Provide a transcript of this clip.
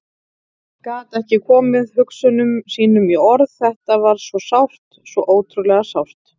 Gat ekki komið hugsunum sínum í orð, þetta var svo sárt, svo ótrúlega sárt.